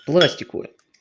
пластиковый